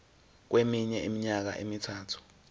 kweminye iminyaka emithathu